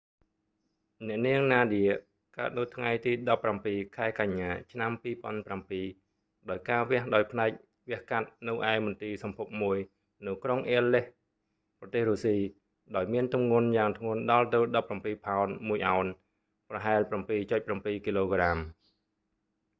អ្នកនាងណាឌៀ nadia កើតនៅថ្ងៃទី១៧ ខែកញ្ញា ឆ្នាំ២០០៧ ដោយការវះដោយផ្នែកវះកាត់នៅឯមន្ទីរសម្ភពមួយនៅក្រុងអ៊ែលលេសក៍ aleisk ប្រទេសរុស្ស៊ី ដោយមានទម្ងន់យ៉ាងធ្ងន់ដល់ទៅ១៧ ផោន ១ អោន ប្រហែល ៧.៧ គ.ក។